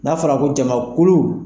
N'a fɔra ko jamakulu